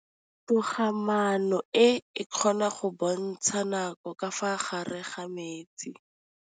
Toga-maanô e, e kgona go bontsha nakô ka fa gare ga metsi.